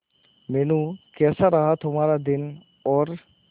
मीनू कैसा रहा तुम्हारा दिन और